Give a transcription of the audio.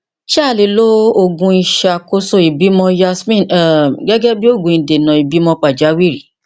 ṣé a lè lo òògùn ìṣàkóso ìbímọ yasmin um gẹgẹ bí òògùn ìdènà ìbímọ pàjáwìrì